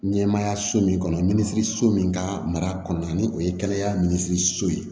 Ɲɛmaayaso min kɔnɔ minisiriso min ka mara kɔnɔna ni o ye kɛnɛya minisiriso ye